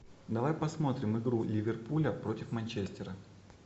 давай посмотрим игру ливерпуля против манчестера